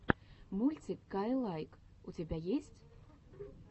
мультик каилайк у тебя есть